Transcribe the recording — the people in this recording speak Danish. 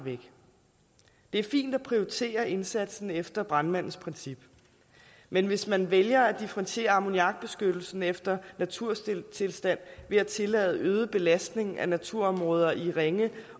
det er fint at prioritere indsatsen efter brandmandsprincippet men hvis man vælger at differentiere ammoniakbeskyttelsen efter naturtilstanden ved at tillade øget belastning af naturområder i ringe